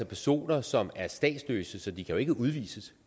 personer som er statsløse så de kan jo ikke udvises